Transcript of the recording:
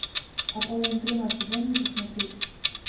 аполлон тринадцать дай мне посмотреть